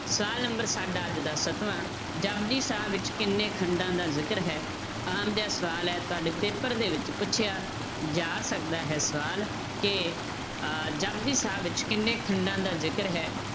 ਸਵਾਲ number ਸਾਡਾ ਅੱਜ ਦਾ ਸੱਤਵਾਂ ਜਪੁਜੀ ਸਾਹਿਬ ਵਿੱਚ ਕਿੰਨੇ ਖੰਡਾਂ ਦਾ ਜ਼ਿਕਰ ਹੈ, ਆਮ ਜਿਹਾ ਸਵਾਲ ਹੈ ਤੁਹਾਡੇ paper ਦੇ ਵਿੱਚ ਪੁੱਛਿਆ ਜਾ ਸਕਦਾ ਹੈ ਸਵਾਲ ਕਿ ਅਹ ਜਪੁਜੀ ਸਾਹਿਬ ਵਿੱਚ ਕਿੰਨੇ ਖੰਡਾਂ ਦਾ ਜ਼ਿਕਰ ਹੈ?